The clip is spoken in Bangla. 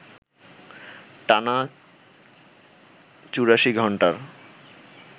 টানা ৮৪ ঘণ্টার